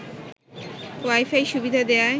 wifi সুবিধা দেয়ায়